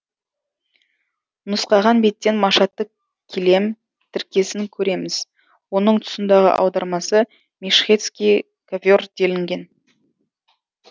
нұсқаған беттен машаты килем тіркесін көреміз оның тұсындағы аудармасы мешхедский ковер делінген